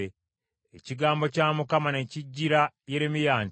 Ekigambo kya Mukama ne kijjira Yeremiya nti,